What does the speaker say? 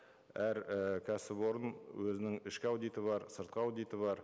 әр і кәсіпорын өзінің ішкі аудиты бар сыртқы аудиты бар